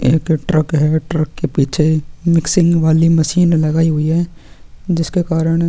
यहाँ पे ट्रक होएंगा ट्रक के पीछे मिक्सिंग वाली मशीन लगायी हुई है जिसके कारन--